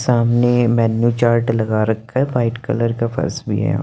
सामने menu chart लगा रखा है वाइट कलर का फर्श भी है यहाँ --